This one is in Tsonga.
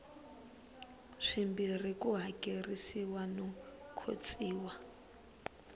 swimbirhi ku hakerisiwa no khotsiwa